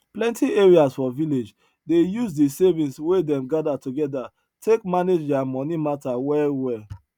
plenti areas for village dey use the savings wey them gather together take manage their money matter well well